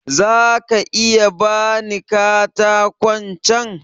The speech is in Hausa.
Za ka iya ba ni katakon can?